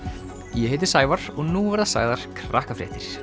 ég heiti Sævar og nú verða sagðar